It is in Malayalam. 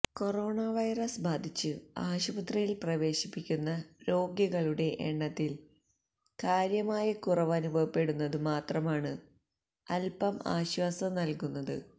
കൊറോണ വൈറസ് ബാധിച്ചു ആശുപത്രിയിൽ പ്രവേശിപ്പിക്കുന്ന രോഗികളുടെ എണ്ണത്തിൽ കാര്യമായ കുറവനുഭവപ്പെടുന്നതു മാത്രമാണ് അല്പം ആശ്വാസം നൽകുന്നത്